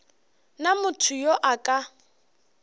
na motho yo a ka